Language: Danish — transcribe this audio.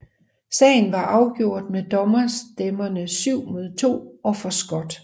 Sagen var afgjort med dommerstemmerne 7 mod og 2 for Scott